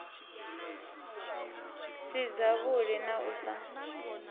si dzavhuḓi na u sa